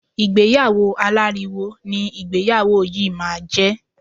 Ìgbéyàwó aláriwo ni ìgbéyàwó yìí máa jẹ.